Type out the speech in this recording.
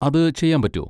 അത് ചെയ്യാൻ പറ്റോ?